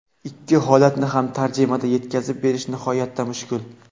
Ikki holatni ham tarjimada yetkazib berish nihoyatda mushkul.